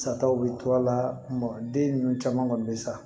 Sataw bɛ to a la den ninnu caman kɔni bɛ sa